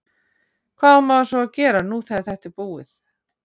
Hvað á maður svo að gera nú þegar þetta er búið?